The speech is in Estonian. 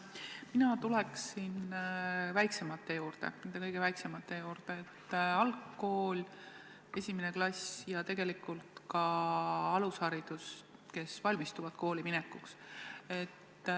Mina tuleksin väiksemate juurde, nende kõige väiksemate juurde – algkool, esimene klass ja tegelikult ka alusharidus, need, kes valmistuvad kooliminekuks.